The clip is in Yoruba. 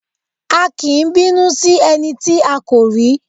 A kì í bínú sí ẹni tí a kò rí.